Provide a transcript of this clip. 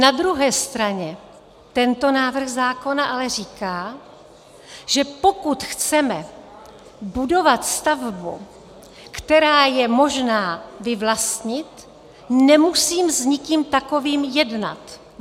Na druhé straně tento návrh zákona ale říká, že pokud chceme budovat stavbu, která je možná vyvlastnit, nemusím s nikým takovým jednat.